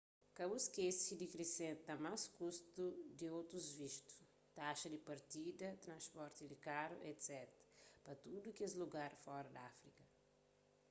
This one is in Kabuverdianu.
ka bu skese di krisenta más kustu di otus vistu taxa di partida transporti di karu etc pa tudu kes lugar fora di áfrika